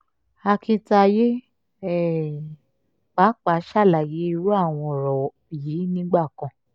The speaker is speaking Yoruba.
akintayé um pàápàá ṣàlàyé irú àwọn ọ̀rọ̀ yìí nígbà kan